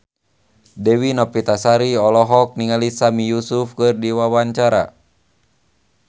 Dewi Novitasari olohok ningali Sami Yusuf keur diwawancara